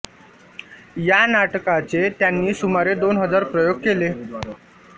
या नाटकाचे त्यांनी सुमारे दोन हजार प्रयोग केले